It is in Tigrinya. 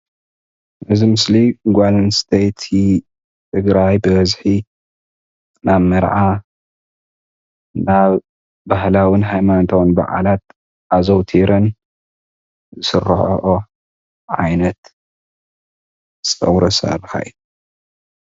እዚ ምስሊ ጓል ኣነስተይቲ ትግራይ ብበዝሒ ናብ መርዓ ናብ ባህላዊን ሃይማኖታዊን በዓላት ኣዘውቲረን ዝስረሐኦ ዓይነት ፀጉሪ ኣሰራርሓ እዩ፡፡